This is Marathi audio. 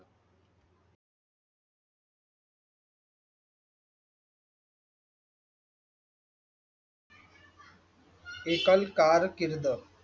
एकल कारकीर्द